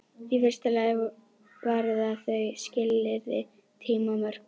Í fyrsta lagi varða þau skilyrði tímamörk.